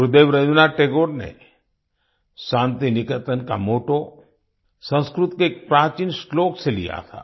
गुरुदेव रवीन्द्रनाथ टैगोर ने शान्तिनिकेतन का मोट्टो संस्कृत के एक प्राचीन श्लोक से लिया था